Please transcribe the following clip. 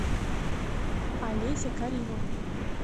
олеся каримовна